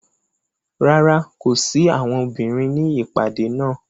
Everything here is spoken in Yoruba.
Rárá, ko si awọn obinrin ni ipade naa.